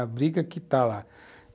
A briga que está lá.